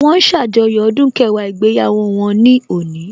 Wọ́n ń ṣàjọyọ̀ ọdún kẹwàá ìgbéyàwó wọn ní òní